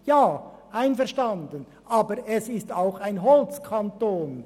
Einverstanden, aber er ist auch ein Holzkanton.